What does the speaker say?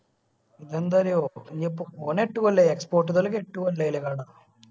ഇത്എന്താ അറിയോ ഇനീപ്പോ ഓന് എട്ടു കൊല്ലായി export കളെ എട്ടു കൊല്ലായില്ലേ കട